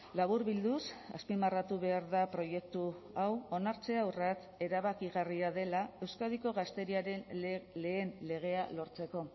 laburbilduz azpimarratu behar da proiektu hau onartzea urrats erabakigarria dela euskadiko gazteriaren lehen legea lortzeko